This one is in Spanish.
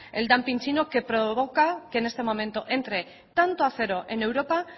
el dumping chino que provoca que en este momento entre tanto acero en europa